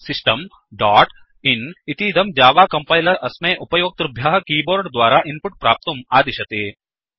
system dot in इतीदं Java compiler अस्मै उपयोक्तृभ्यः कीबोर्ड् द्वारा इन्पुट् प्राप्तुम् आदिशति